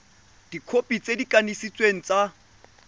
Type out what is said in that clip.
dikhopi tse di kanisitsweng tsa